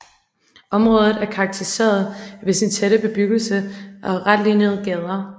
Området er karakteriseret ved sin tætte bebyggelse og retlinjede gader